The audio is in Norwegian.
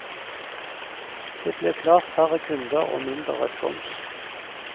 Det blir klart færre kunder og mindre respons.